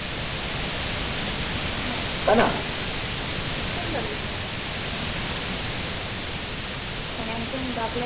হা ভালো লাগলো বেশ সুন্দর বিষয়ে মানে একজন বাবলাখান